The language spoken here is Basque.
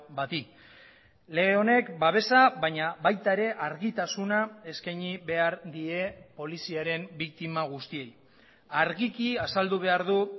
bati lege honek babesa baina baita ere argitasuna eskaini behar die poliziaren biktima guztiei argiki azaldu behar du